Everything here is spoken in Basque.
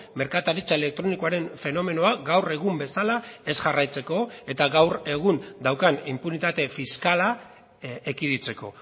merkataritza elektronikoaren fenomenoa gaur egun bezala ez jarraitzeko eta gaur egun daukan inpunitate fiskala ekiditeko